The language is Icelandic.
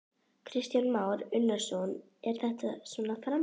Kristján Már Unnarsson: Er þetta svona framtíðin?